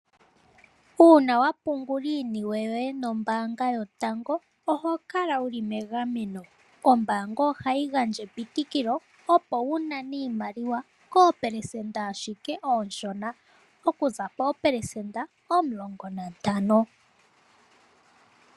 Uuna wa pungula iiniwe yoye nombaanga yotango yopashigwana oho kala wuli megameno. Ombaanga ohayi gandja epitikilo opo wu nane iimaliwa koopelesenda ashike oonshona. Okuza poopelesenda omulongo nantano.